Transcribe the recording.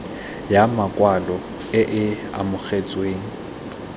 ya makwalo e e amogetsweng